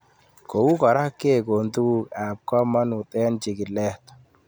Kou kora kekon tuguk ab kamanut eng' chig'ilet